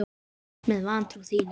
Með vantrú þína.